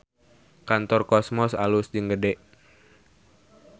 Kantor Cosmos alus jeung gede